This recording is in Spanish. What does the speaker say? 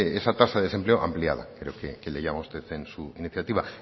esa tasa de desempleo ampliada creo que le llama usted en su iniciativa